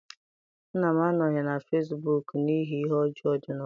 Nna m anọghị na fesibuuku n'ihi ihe ọjọọ dị n'ụwa.